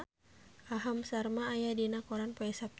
Aham Sharma aya dina koran poe Saptu